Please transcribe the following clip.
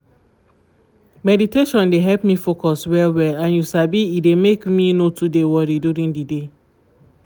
meditation dey help me focus well-well and you sabi e dey make me no too dey worry during the day